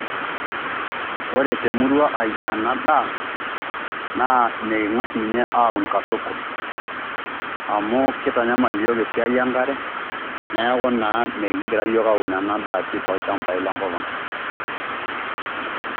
Ore temurua ai anadaa, naa meking'as ninye aun katukul. Amu kitanyamal iyiok esiai enkare, neeku naa mikgira yiok aun ena daa pii tolchambai lenkop ang'.